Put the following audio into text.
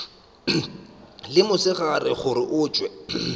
le mosegare gore o hwetše